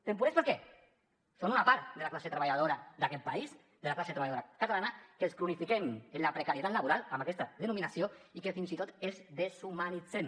temporers per què són una part de la classe treballadora d’aquest país de la classe treballadora catalana que els cronifiquem en la precarietat laboral amb aquesta denominació i que fins i tot els deshumanitzem